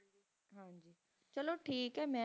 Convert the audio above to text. ਚਲੋ ਟਾਕ ਹੈ ਮੈਂ